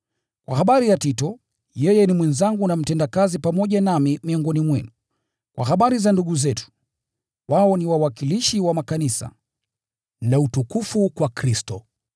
Kwa habari ya Tito, yeye ni mwenzangu na mtendakazi pamoja nami miongoni mwenu. Kwa habari za ndugu zetu, wao ni wawakilishi wa makanisa, na utukufu kwa Kristo.